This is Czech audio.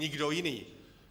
Nikdo jiný.